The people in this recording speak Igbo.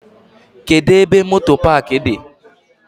Kedụ ebe moto paaki dị?